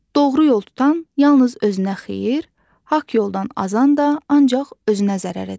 Doğru yol tutan yalnız özünə xeyir, haqq yoldan azan da ancaq özünə zərər edər.